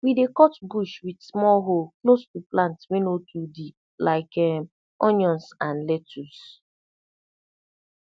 we dey cut bush with small hoe close to plant wey no too deep like um onions and lettuce